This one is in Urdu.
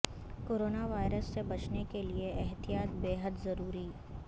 کورونا وائرس سے بچنے کیلئے احتیاط بے حد ضروری